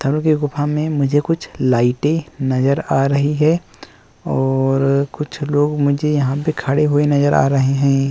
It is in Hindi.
में मुझे कुछ लाइटें नज़र आ रही हैं और कुछ लोग मुझे यहाँ पे खड़े नज़र आ रहे हैं।